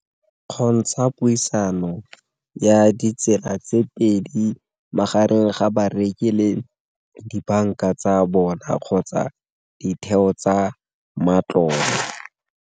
Kgontsha puisano ya ditsela tse pedi magareng ga bareki le dibanka tsa bona kgotsa ditheo tsa matlole.